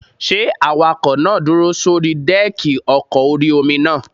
Ṣé awakọ̀ náà dúró sórí dẹ́ẹ̀kì ọkọ̀ orí-omi náà?